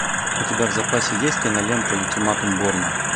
у тебя в запасе есть кинолента ультиматум борна